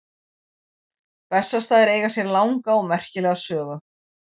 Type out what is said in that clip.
Bessastaðir eiga sér langa og merkilega sögu.